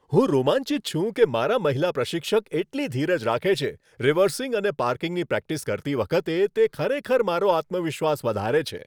હું રોમાંચિત છું કે મારાં મહિલા પ્રશિક્ષક એટલી ધીરજ રાખે છે. રિવર્સિંગ અને પાર્કિંગની પ્રેક્ટિસ કરતી વખતે તે ખરેખર મારો આત્મવિશ્વાસ વધારે છે.